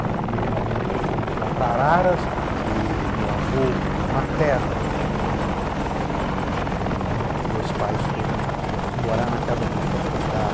Em um primeiro momento, fomos lá para Araras, porque meu avô materno tinha morrido, né e me meus pais foram, digamos, morar na casa dele para cuidar